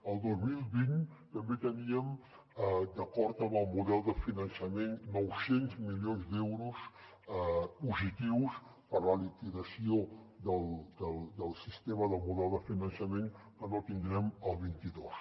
el dos mil vint també teníem d’acord amb el model de finançament nou cents milions d’euros positius per la liquidació del sistema del model de finançament que no tindrem el vint dos